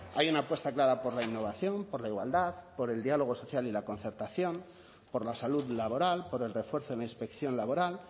hay una apuesta clara por la innovación por la igualdad por el diálogo social y la concertación por la salud laboral por el refuerzo en la inspección laboral